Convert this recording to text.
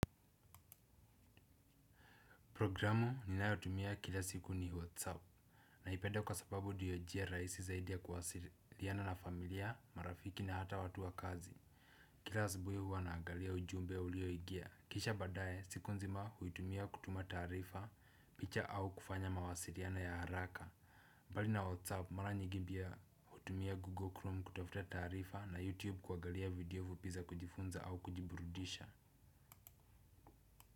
Programu ninayotumia kila siku ni whatsapp. Naipenda kwa sababu ndiyo njia rahisi zaidi ya kuwasiliana na familia, marafiki na hata watu wa kazi. Kila asubuhi huwa na angalia ujumbe ya ulioingia. Kisha baadaye siku nzima huitumia kutuma taarifa picha au kufanya mawasiliano ya haraka. Mbali na whatsapp mara nyingi pia hutumia google chrome kutafuta taarifa na youtube kuagalia video za kujifunza au kujiburudisha.